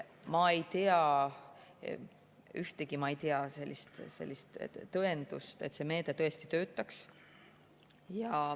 Ma ei tea ühtegi tõendust, et see meede tõesti töötaks.